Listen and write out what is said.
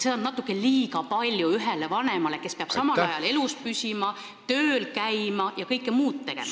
Seda on natukene liiga palju ühele vanemale, kes peab samal ajal elus püsima, tööl käima ja kõike muud tegema.